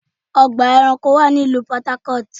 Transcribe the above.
Ọgbà ẹranko wà ní ìlú Port Harcourt.